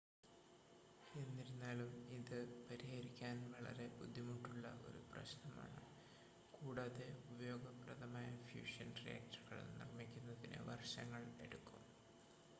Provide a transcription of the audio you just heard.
എന്നിരുന്നാലും ഇത് പരിഹരിക്കാൻ വളരെ ബുദ്ധിമുട്ടുള്ള ഒരു പ്രശ്നമാണ് കൂടാതെ ഉപയോഗപ്രദമായ ഫ്യൂഷൻ റിയാക്ടറുകൾ നിർമ്മിക്കുന്നതിന് വർഷങ്ങൾ എടുക്കും